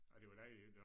Og det var dejligt